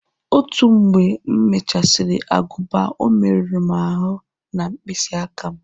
Otu mgbe m mechasiri aguba o merụ m aru na mkpịsị aka m